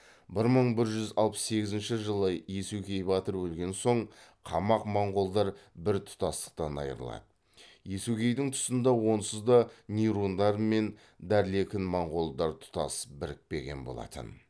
бір мың бір жүз алпыс сегізінші жылы иесугей батыр өлген соң қамақ моңғолдар бір тұтастықтан айырылады иесугейдің тұсында онсызда нирундар мен дарлекін моңғолдар тұтас бірікпеген болатын